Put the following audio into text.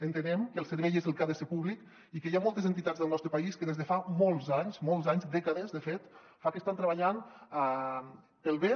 entenem que el servei és el que ha de ser públic i que hi ha moltes entitats del nostre país que des de fa molts anys dècades de fet estan treballant pel bé